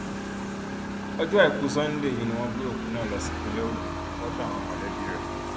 ọjọ àìkú sanńdé ọsẹ yìí ni wọn gbé òkú náà lọ sí ìpínlẹ ogun lọdọ àwọn mọlẹbí rẹ